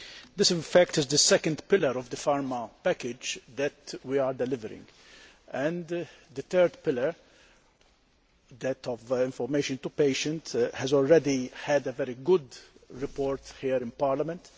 This, in fact, is the second pillar of the Pharma package that we are delivering and the third pillar, that of information to patients, has already had a very good report here in Parliament.